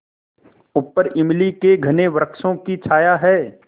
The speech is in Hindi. ऊपर इमली के घने वृक्षों की छाया है